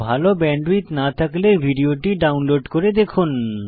ভাল ব্যান্ডউইডথ না থাকলে ভিডিওটি ডাউনলোড করে দেখুন